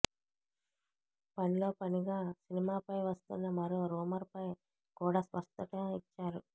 పనిలోపనిగా సినిమాపై వస్తున్న మరో రూమర్ పై కూడా స్పష్టత ఇచ్చాడు